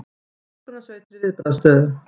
Björgunarsveitir í viðbragðsstöðu